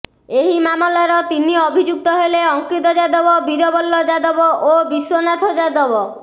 ଏହି ମାମଲାର ତିନି ଅଭିଯୁକ୍ତ ହେଲେ ଅଙ୍କିତ ଯାଦବ ବୀରବଲ ଯାଦବ ଓ ବିଶ୍ୱନାଥ ଯାଦବ